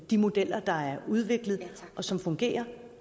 de modeller der er udviklet og som fungerer